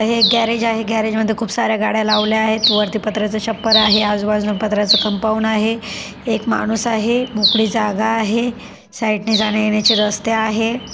हे एक गॅरेज आहे गॅरेजमध्ये खूप साऱ्या गाड्या लावल्या आहेत वरती पत्र्याच छप्पर आहे आजूबाजूला पत्र्याच कंपाऊंड आहे एक माणूस आहे मोकळी जागा आहे साईडने जाण्यायेण्याचे रस्ते आहेत.